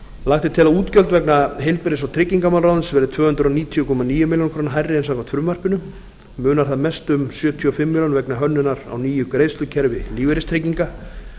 lagt er til að útgjöld vegna heilbrigðis og tryggingamálaráðuneytisins verði tvö hundruð níutíu komma níu milljónir króna hærri en samkvæmt frumvarpinu munar þar mest um sjötíu og fimm milljónir vegna hönnunar á nýju greiðslukerfi lífeyristrygginga